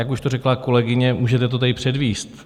Jak už to řekla kolegyně, můžete to tady předvést?